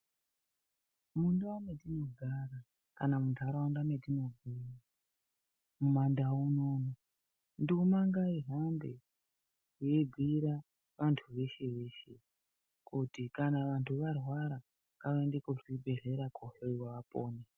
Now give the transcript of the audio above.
Mundau matinogara kana munharaunda mwetinobva mumandau munono nduma ngaihambe yeibhuyira vanhu veshe veshe kuti kana vanhu varwara ngavaende kuzvibhehleya kohloyiwa apone.